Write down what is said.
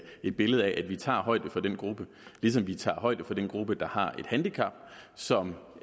et billede af at vi tager højde for den gruppe ligesom vi tager højde for den gruppe der har et handicap som